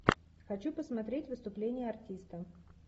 хочу посмотреть выступление артиста